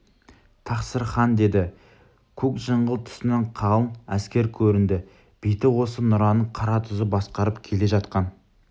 тақсыр хан деді көк жыңғыл тұсынан қалың әскер көрінді беті осы нұраның қаратұзы басқарып келе жатқан